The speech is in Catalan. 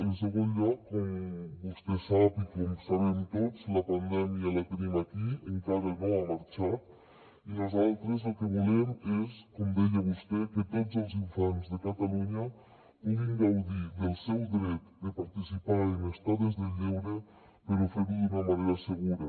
en segon lloc com vostè sap i com sabem tots la pandèmia la tenim aquí encara no ha marxat i nosaltres el que volem és com deia vostè que tots els infants de catalunya puguin gaudir del seu dret de participar en estades de lleure però fer ho d’una manera segura